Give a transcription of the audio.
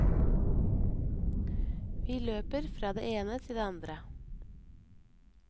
Vi løper fra det ene til det andre.